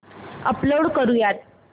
upload करुयात